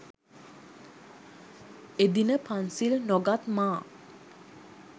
එදින පන්සිල් නොගත් මා